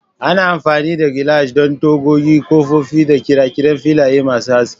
Ana amfani da gilashi don tagogi, kofofin da ƙirƙirar filaye masu haske.